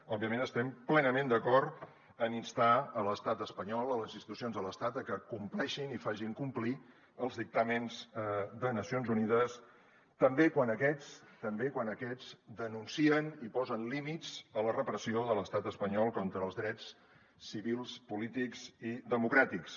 òbviament estem plenament d’acord amb instar l’estat espanyol les institucions de l’estat a que compleixin i facin complir els dictàmens de nacions unides també quan aquests també quan aquests denuncien i posen límits a la repressió de l’estat espanyol contra els drets civils polítics i democràtics